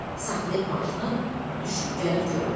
Saxlayıb maşını, düşüb gəlib görüb.